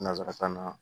Nansarakan na